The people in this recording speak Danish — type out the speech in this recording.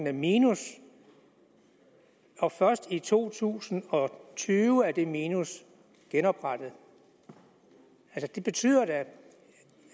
i minus og først i to tusind og tyve er det minus genoprettet det betyder da